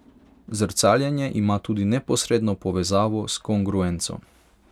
Zrcaljenje ima tudi neposredno povezavo s kongruenco.